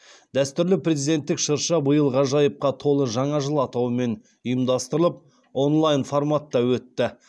дәстүрлі президенттік шырша биыл ғажайыпқа толы жаңа жыл атауымен ұйымдастырылып онлайн форматта өтті